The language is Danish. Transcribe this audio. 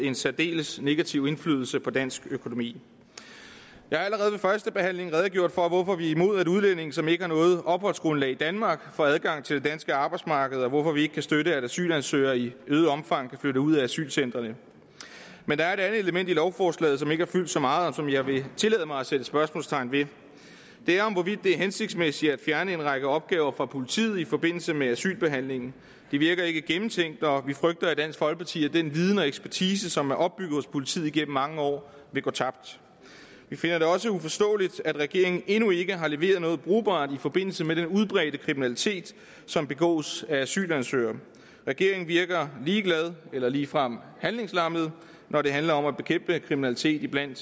en særdeles negativ indflydelse på dansk økonomi jeg har allerede under førstebehandlingen redegjort for hvorfor vi er imod at udlændinge som ikke har noget opholdsgrundlag i danmark får adgang til det danske arbejdsmarked og hvorfor vi ikke kan støtte at asylansøgere i øget omfang kan flytte ud af asylcentrene men der er et andet element i lovforslaget som ikke har fyldt så meget og som jeg vil tillade mig at sætte spørgsmålstegn ved det er om hvorvidt det er hensigtsmæssigt at fjerne en række opgaver fra politiet i forbindelse med asylbehandlingen det virker ikke gennemtænkt og vi frygter i dansk folkeparti at den viden og ekspertise som er opbygget hos politiet igennem mange år vil gå tabt vi finder det også uforståeligt at regeringen endnu ikke har leveret noget brugbart i forbindelse med den udbredte kriminalitet som begås af asylansøgere regeringen virker ligeglad eller ligefrem handlingslammet når det handler om at bekæmpe kriminalitet blandt